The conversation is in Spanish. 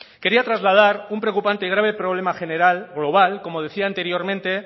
quería trasladar un preocupante y grave problema general global como decía anteriormente